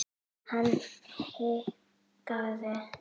Hann hikaði.